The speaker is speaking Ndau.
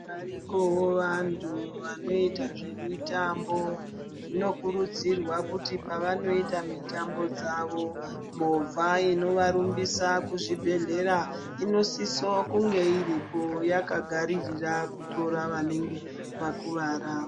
Varikovo vantu vanoita zvemitambo zvinokurudzirwa kuti pavanoita mitambo dzavo movha inovarumbisa kuzvibhedhlera. Inosiso kunge iripo yakagaririra kutora vanenge vakuvara.